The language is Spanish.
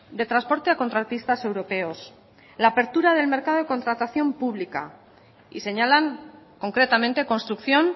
de transporte a contratistas europeos la apertura del mercado de contratación pública y señalan concretamente construcción